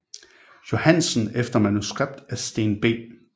Johansen efter manuskript af Steen B